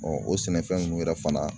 o sɛnɛfɛn nunnu yɛrɛ fana